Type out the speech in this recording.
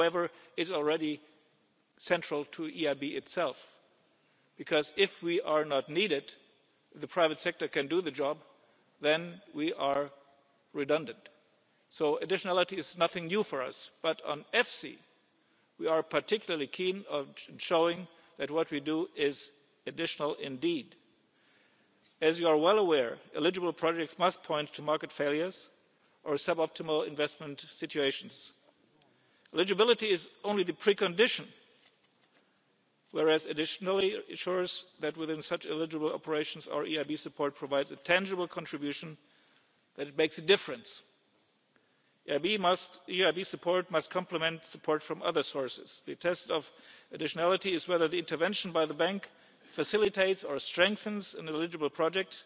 is central to EFSI however, it is already central to the EIB itself. If we are not needed, if the private sector can do the job, then we are redundant. So additionality is nothing new for us, but regarding EFSI, we are particularly keen to show that what we do is additional indeed. As you are well aware, eligible projects must point to market failures or sub optimal investment situations. Eligibility is only the precondition, whereas additionality ensures that within such eligible operations our EIB support provides a tangible contribution, and that it makes a difference. EIB support must compliment support from other sources. The test of additionality is whether the intervention by the Bank facilitates